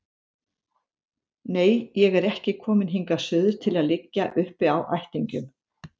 Nei, ég er ekki komin hingað suður til að liggja uppi á ættingjum